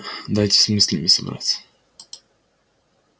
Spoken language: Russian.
дайте с мыслями собраться